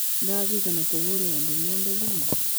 Ndirikania kũhũrĩra andũ othe thimũ